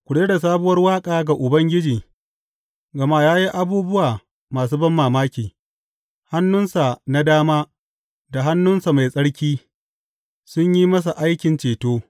Ku rera sabuwar waƙa ga Ubangiji, gama ya yi abubuwa masu banmamaki; hannunsa na dama da hannunsa mai tsarki sun yi masa aikin ceto.